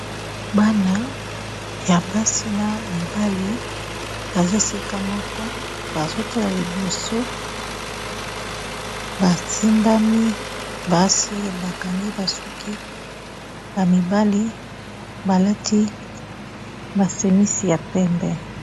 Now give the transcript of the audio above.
Bana ya basi n'a mibali baza esika moko bazotala liboso basimbani basi bakangi ba suki mibali balati ma semisi ya pembe